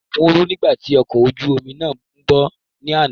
Òkun ru nígbà tí ọkọ̀ ojú omi náà ńbọ̀ ní àná